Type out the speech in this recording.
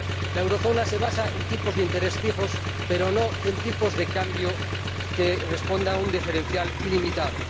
La zona del euro se basa en tipos de interés fijos, pero no en tipos de cambio que respondan a un diferencial ilimitado.